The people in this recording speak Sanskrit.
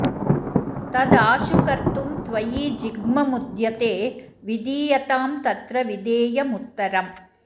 तद् आशु कर्तुं त्वयि जिह्ममुद्यते विधीयतां तत्र विधेयमुत्तरम्